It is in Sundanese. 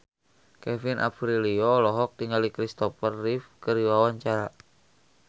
Kevin Aprilio olohok ningali Christopher Reeve keur diwawancara